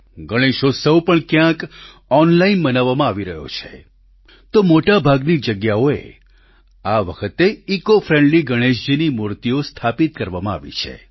ગણેશોત્સવ પણ ક્યાંક ઓનલાઈન મનાવવામાં આવી રહ્યો છે તો મોટાભાગની જગ્યાઓએ આ વખતે ઈકોફ્રેન્ડ્લી ગણેશજીની મૂર્તિઓ સ્થાપિત કરવામાં આવી છે